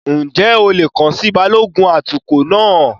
Ǹjẹ́ o lè kàn sí Balógun atukọ̀ náà?